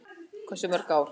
Hversu mörg ár?